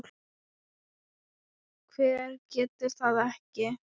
Hver getur það ekki?